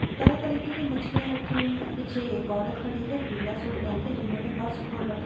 तरह तरीके की मछलियाँ रखी हुई हैंपीछे एक औरत खड़ी हैपीला सूट पहन कर जिन्होनें पर्स खोल रखा--